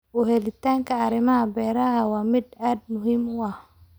U heellanaanta arrimaha beeraha waa mid aad muhiim u ah.